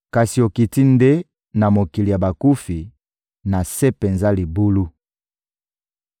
Kasi okiti nde na mokili ya bakufi, na se penza ya libulu.